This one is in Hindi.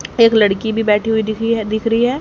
एक लड़की भी बैठी हुई दिखी है दिख रही है।